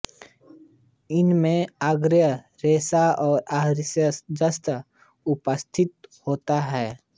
इसमें आहारीय रेशा और आहारीय जस्ता उपस्थित होता है